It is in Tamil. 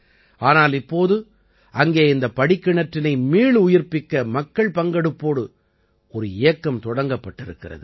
ஆனால் இப்போது அங்கே இந்தப் படிக்கிணற்றினை மீளுயிர்ப்பிக்க மக்கள் பங்கெடுப்போடு ஒரு இயக்கம் தொடங்கப்பட்டிருக்கிறது